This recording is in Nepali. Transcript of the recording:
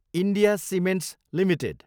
India cements Ltd